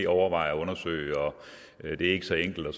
overveje og undersøge og det ikke så enkelt og